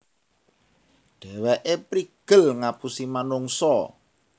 Dhèwèké prigel ngapusi manungsa